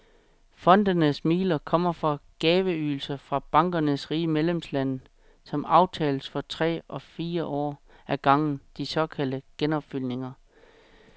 Fondenes midler kommer fra gaveydelser fra bankernes rige medlemslande, som aftales for tre eller fire år ad gangen, de såkaldte genopfyldninger.